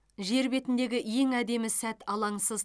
жер бетіндегі ең әдемі сәт алаңсыз